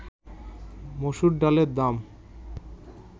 মশুর ডালের দাম